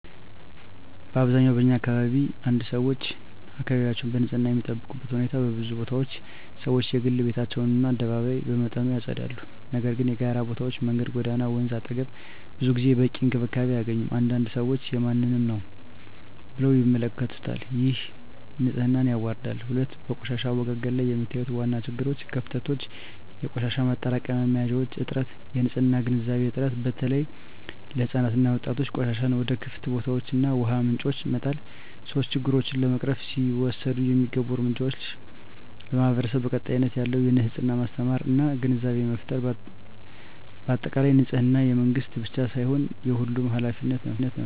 በአብዛኛው በኛ አካባቢ 1️⃣ ሰዎች አካባቢያቸውን በንፅህና የሚጠብቁበት ሁኔታ በብዙ ቦታዎች ሰዎች የግል ቤታቸውን እና አደባባይ በመጠኑ ያጸዳሉ፤ ነገር ግን የጋራ ቦታዎች (መንገድ፣ ጎዳና፣ ወንዝ አጠገብ) ብዙ ጊዜ በቂ እንክብካቤ አያገኙም። አንዳንድ ሰዎች “የማንም ነው” ብለው ይመለከቱታል፣ ይህም ንፅህናን ያዋርዳል። 2, በቆሻሻ አወጋገድ ላይ የሚታዩ ዋና ችግሮች / ክፍተቶች - የቆሻሻ ማጠራቀሚያ መያዣዎች እጥረት -የንፅህና ግንዛቤ እጥረት (በተለይ ለሕፃናት እና ወጣቶች) -ቆሻሻን ወደ ክፍት ቦታዎች እና ውሃ ምንጮች መጣል 3, ችግሮቹን ለመቅረፍ ሊወሰዱ የሚገቡ እርምጃዎች ,ለማህበረሰቡ ቀጣይነት ያለው የንፅህና ማስተማር እና ግንዛቤ ፍጠር በአጠቃላይ፣ ንፅህና የመንግስት ብቻ ሳይሆን የሁሉም ኃላፊነት ነው።